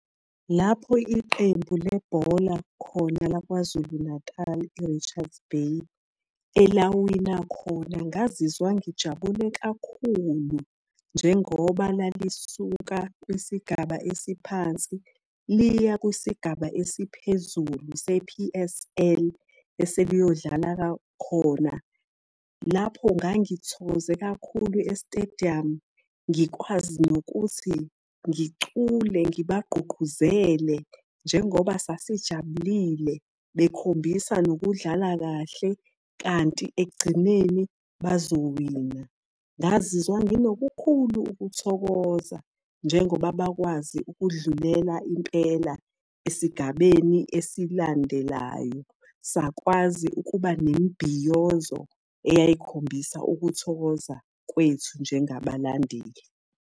Lapho iqembu lebhola khona lakwaZulu Natal e-Richards Bay, elawina khona, ngazizwa ngijabule kakhulu njengoba lalisuka kwisigaba esiphansi liya kwisigaba esiphezulu se-P_S_L eseliyodlala khona. Lapho ngangithokoze kakhulu e-stadium, ngikwazi nokuthi ngicule, ngibagqugquzela njengoba sasijabulile, bekhombisa nokudlala kahle kanti ekugcineni bazowina. Ngazizwa nginokukhulu ukuthokoza njengoba bakwazi ukudlulela impela esigabeni esilandelayo. Sakwazi ukuba nemibhiyozo eyayikhombisa ukuthokoza kwethu njengabalandeli.